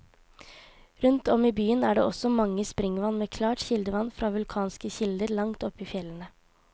Rundt om i byen er det også mange springvann med klart kildevann fra vulkanske kilder langt oppe i fjellene.